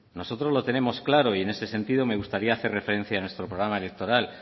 nosotros lo tenemos claro y en ese sentido me gustaría hacer referencia a nuestro programa electoral